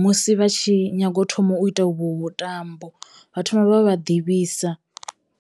musi vha tshi nyago thoma u ita uvho vhutambo vha thoma vha ḓivhisa.